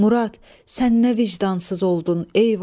Murad, sən nə vicdansız oldun, eyvah!